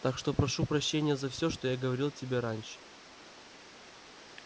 так что прошу прощения за все что я говорил о тебе раньше